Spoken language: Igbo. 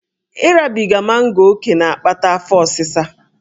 Ịrabiga mango ókè na-akpata afọ osịsa